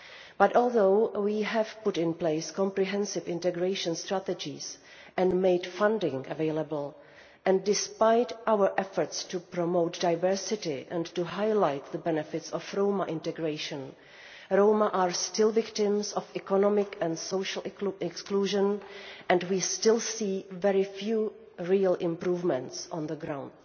But although we have put in place comprehensive integration strategies and made funding available, and despite our efforts to promote diversity and to highlight the benefits of Roma integration, Roma are still victims of economic and social exclusion and we still see very few real improvements on the ground.